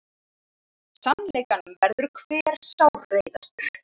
Sannleikanum verður hver sárreiðastur.